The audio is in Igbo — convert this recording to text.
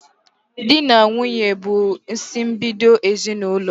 Di na nwunye bụ isimbido ezinaụlọ